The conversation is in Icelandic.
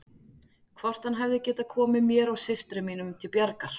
Hvort hann hefði getað komið mér og systrum mínum til bjargar.